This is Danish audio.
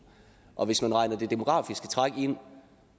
og hvis man regner det demografiske træk ind